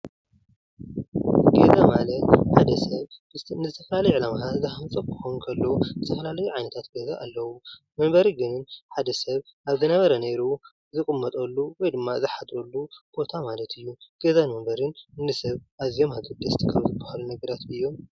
ገዛ ማለት ሓደ ሰብ ንዝተፈላለዩ ዕላማታት ዝሃንፆ ከሎ ዝተፈላልዩ ዓይነታት ገዛ ኣለዉ። መንበሪ ግን ሓደ ሰብ ኣብ ዝነበረ ኔሩ ዝቕመጠሉ ወይ ድማ ዝሓድረሉ ቦታ ማለት እዩ። ገዛን መንበርን ንሰብ ኣዝዮም ኣገደስቲ ካብ ዝበሃሉ ነገራት ድዮም ?